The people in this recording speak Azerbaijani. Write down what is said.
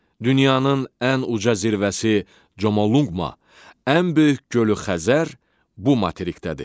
Dünyanın ən uca zirvəsi Comalungma, ən böyük gölü Xəzər bu materikdədir.